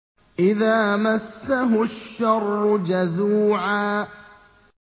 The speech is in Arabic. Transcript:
إِذَا مَسَّهُ الشَّرُّ جَزُوعًا